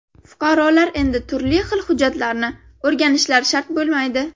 Fuqarolar endi turli xil hujjatlarni o‘rganishlari shart bo‘lmaydi.